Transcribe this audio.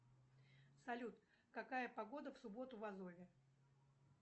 салют какая погода в субботу в азове